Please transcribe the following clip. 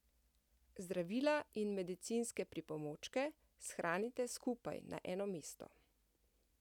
Zdravila in medicinske pripomočke shranite skupaj na eno mesto.